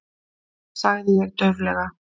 sagði ég dauflega.